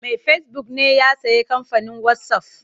Mai fesibuk ne ya sayi kamfanin wasaf.